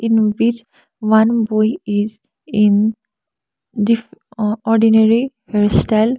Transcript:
in one boy is in diff o ordinary hairstyle.